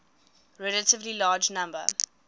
relatively large number